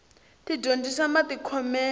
ti dyondzisa matikhomele